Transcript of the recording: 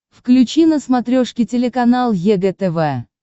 включи на смотрешке телеканал егэ тв